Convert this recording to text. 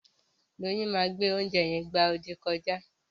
Doyin ma gbe oúnjẹ yen gbá odì kọjá.